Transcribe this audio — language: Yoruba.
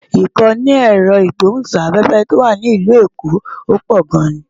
Ìkànnì ẹ̀rọ ìgbóhùn-sáfẹ́fẹ́ tó wà ní ìlú èkó pò gan-an